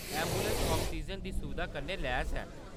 Ambulance oxygen दी सुविधा कन्नै लैस ऐ।